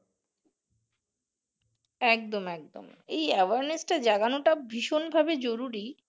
একদম একদম এই awareness টা জাগানো টা ভীষণ ভাবে জরুরি